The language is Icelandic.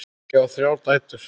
Ég á þrjár dætur.